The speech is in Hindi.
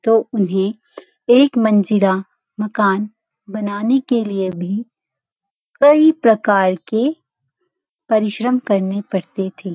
तो उन्‍हें एक मंजिला मकान बनाने के लिए भी कई प्रकार के परिश्रम करने पड़ते थे।